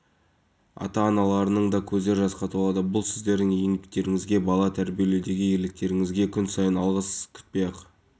бүгін мамандарымызға түрлі әлеуметтік қызметтерді алуға тұрғын үй кезегіне тұруға бала тууына байланысты қаражат төлеуге қатысты